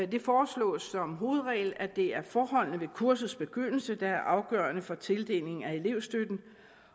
det foreslås som hovedregel at det er forholdene ved kursets begyndelse der er afgørende for tildelingen af elevstøtten